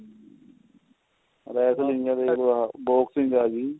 ਰਹਿ ਨੀਂ ਦੇਖ ਲੋ ਆਹ boxing ਆ ਗਈ